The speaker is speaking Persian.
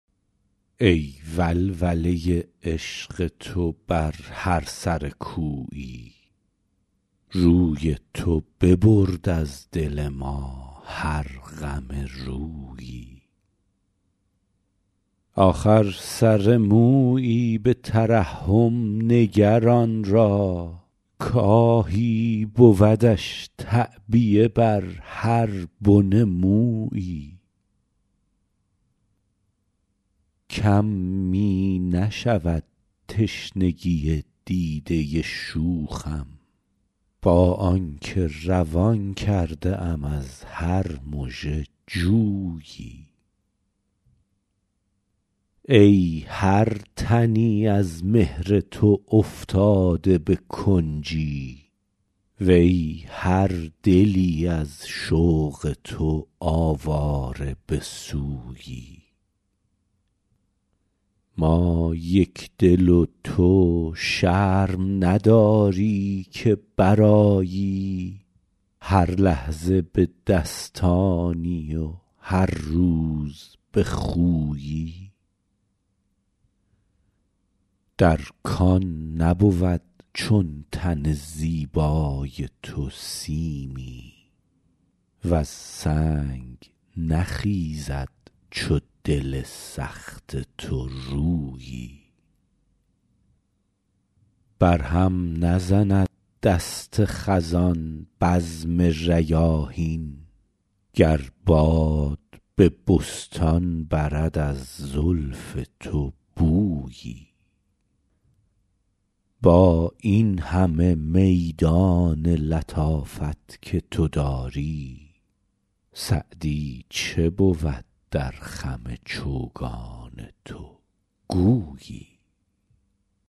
ای ولوله عشق تو بر هر سر کویی روی تو ببرد از دل ما هر غم رویی آخر سر مویی به ترحم نگر آن را کآهی بودش تعبیه بر هر بن مویی کم می نشود تشنگی دیده شوخم با آن که روان کرده ام از هر مژه جویی ای هر تنی از مهر تو افتاده به کنجی وی هر دلی از شوق تو آواره به سویی ما یکدل و تو شرم نداری که برآیی هر لحظه به دستانی و هر روز به خویی در کان نبود چون تن زیبای تو سیمی وز سنگ نخیزد چو دل سخت تو رویی بر هم نزند دست خزان بزم ریاحین گر باد به بستان برد از زلف تو بویی با این همه میدان لطافت که تو داری سعدی چه بود در خم چوگان تو گویی